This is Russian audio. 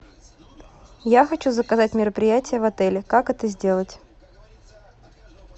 я хочу заказать мероприятие в отеле как это сделать